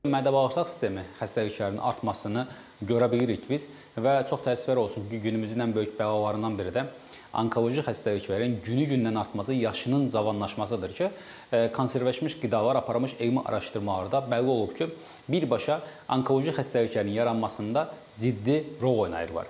Mədə-bağırsaq sistemi xəstəliklərinin artmasını görə bilirik biz və çox təəssüflər olsun ki, günümüzün ən böyük bəlalarından biri də onkoloji xəstəliklərin günü-gündən artması, yaşının cavanlaşmasıdır ki, konservləşdirilmiş qidalar aparılmış elmi araşdırmalarda bəlli olub ki, birbaşa onkoloji xəstəliklərin yaranmasında ciddi rol oynayırlar.